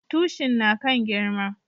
Tushin na kan girma